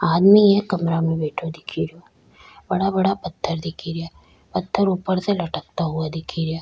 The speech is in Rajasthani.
आदमी एक कमरा में बैठो दिख रिया बड़ा बड़ा पत्थर दिखे रिया पत्थर ऊपर से लटकता हुआ दिखे रिया।